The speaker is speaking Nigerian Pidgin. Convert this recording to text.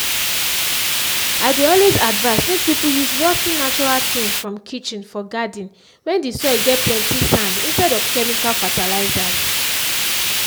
i dey always advice make people use rot ten natural things from kitchen for garden when the soil get plenty sand instead of chemical fertilizers